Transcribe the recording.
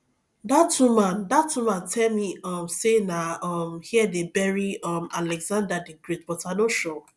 dat woman dat woman tell me um say na um here dey bury um alexander the great but i no sure